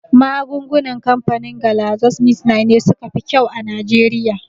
Magungunan kamfanin Galaxosmithline ne suka fi kyau a Nijeriya